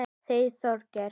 Þeir Þorgeir